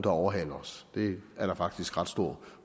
overhaler os det er der faktisk ret stor